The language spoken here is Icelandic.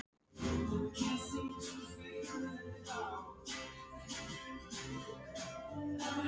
Helst eru þær í Holtum og